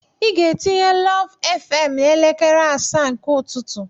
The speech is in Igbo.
Ị ga-etinye lụv fm n'elekere asaa nke ụtụtụ.